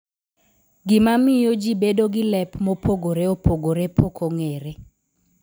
Gima miyo jibedo gi lep mopogore opogore pok ong'ere.